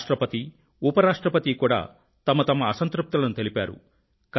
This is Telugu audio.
రాష్ట్రపతి ఉపరాష్ట్రపతి కూడా వారి వారి అసంతృప్తులను తెలిపారు